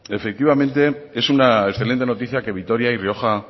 efectivamente es una excelente noticia que vitoria y rioja